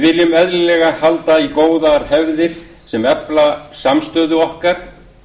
við viljum eðlilega halda í góðar hefðir sem efla samstöðu okkar